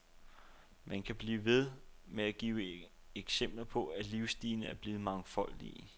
Man kan blive ved med at give eksempler på, at livsstilene er blevet mangfoldige.